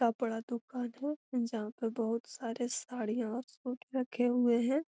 कपड़ा दुकान है जहाँ पे बहुत सारे साड़ियां और सूट रखे हुए है।